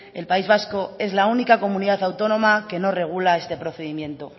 el país vasco es la única comunidad autónoma que no regula este procedimiento